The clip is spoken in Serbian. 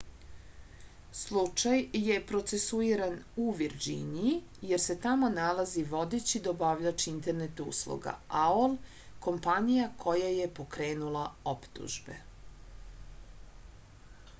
slučaj je procesuiran u virdžiniji jer se tamo nalazi vodeći dobavljač internet usluga aol kompanija koja je pokrenula optužbe